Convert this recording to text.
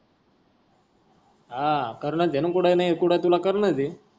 हा. कारण घेण कुठ नाही कुठ आहे तुला कारण ते.